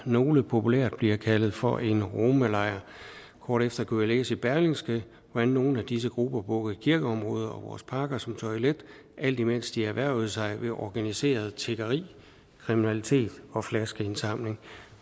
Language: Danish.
nogle populært bliver kaldt for en romalejr kort efter kunne jeg læse i berlingske hvordan nogle af disse grupper brugte kirkeområder og vores parker som toilet alt imens de erhvervede sig ved organiseret tiggeri kriminalitet og flaskesamling